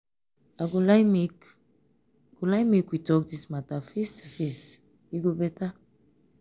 i go like make go like make we talk this matter face to face e go better.